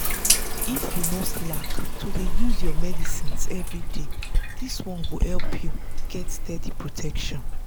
if you no slack to dey use your medicines everyday this one go help you get steady protection.